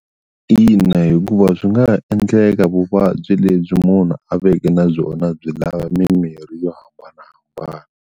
Ina hikuva swi nga ha endleka vuvabyi lebyi munhu a veke na byona byi lava mimirhi yo hambanahambana.